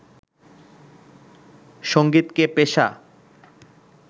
সঙ্গীতকে পেশা